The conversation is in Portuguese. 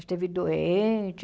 Esteve doente?